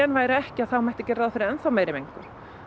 væru ekki þá mætti gera ráð fyrir enn þá meiri mengun